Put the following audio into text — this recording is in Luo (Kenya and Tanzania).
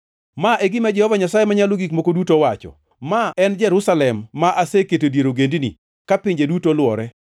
“Ma e gima Jehova Nyasaye Manyalo Gik Moko Duto owacho, Ma en Jerusalem ma aseketo e dier ogendini, ka pinje duto olwore.